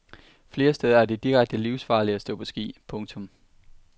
Flere steder er det direkte livsfarligt at stå på ski. punktum